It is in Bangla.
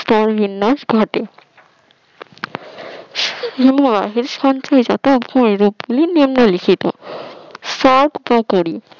স্তর বিন্যাস ঘটে হিমবাহের সঞ্চয়ের সাথে ওই রূপ গুলি নিম্নলিখিত সর্বোপরি